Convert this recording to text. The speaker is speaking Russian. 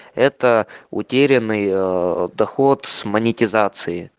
это утерянный ээ доход с монетизации